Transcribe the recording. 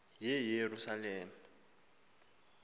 yeyerusalem